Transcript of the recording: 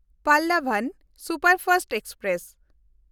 Pallavan superfast express